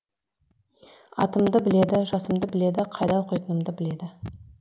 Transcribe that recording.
атымды біледі жасымды біледі қайда оқитынымды біледі